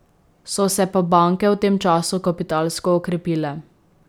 So se pa banke v tem času kapitalsko okrepile.